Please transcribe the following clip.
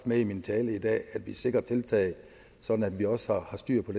med i min tale i dag at vi sikrer tiltag sådan at vi også har styr på